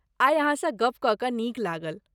आइ अहाँसँ गप कऽ कऽ नीक लागल।